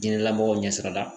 Diinɛlamɔgɔw ɲɛsira la.